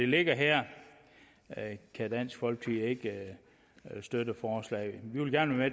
ligger her kan dansk folkeparti ikke støtte forslaget vi vil gerne være